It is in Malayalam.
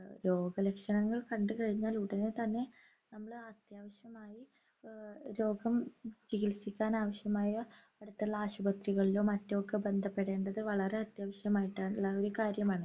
രോഗലക്ഷണങ്ങൾ കണ്ടുകഴിഞ്ഞാൽ ഉടനെത്തന്നെ നമ്മൾ അത്യാവശ്യമായി ആഹ് രോഗം ചികിൽസിക്കാൻ ആവശ്യമായ അടുത്തുള്ള ആശുപത്രികളിലോ മറ്റോ ക്കെ ബന്ധപ്പെടേണ്ടത് വളരെ അത്യാവശ്യമായിട്ടാ ള്ള ഒരു കാര്യമാണ്